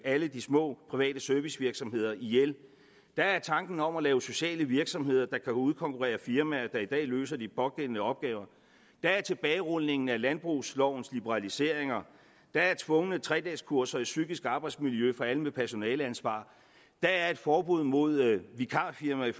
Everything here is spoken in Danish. alle de små private servicevirksomheder ihjel der er tanken om at lave sociale virksomheder der kan udkonkurrere firmaer som i dag løser de pågældende opgaver der er tilbagerulningen af landbrugslovens liberaliseringer der er tvungne tredageskurser i psykisk arbejdsmiljø for alle med personaleansvar der er et forbud mod vikarfirmaer i